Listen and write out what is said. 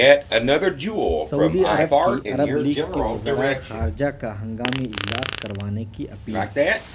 سعودی عرب کی Arab league کے وزراء خارجہ کا ہنگامی اجلاس کروانے کی اپیل